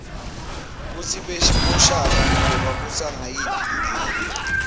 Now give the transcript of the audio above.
kutsi boshaka bebabusa ngayiphi indlela